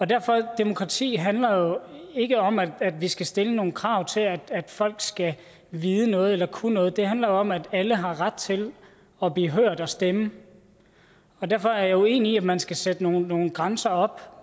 derfor demokrati handler jo ikke om at vi skal stille nogle krav til at folk skal vide noget eller kunne noget det handler jo om at alle har ret til at blive hørt og stemme og derfor er jeg uenig i at man skal sætte nogle nogle grænser op